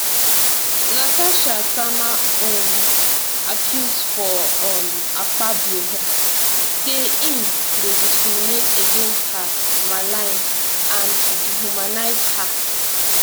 natasha sama um accuse for um akpabio head say im dey discriminate against her malign and dehumanise her